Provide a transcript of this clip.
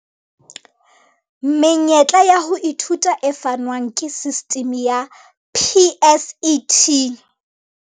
Menyetla ya ho ithuta e fanwang ke sistimi ya PSET.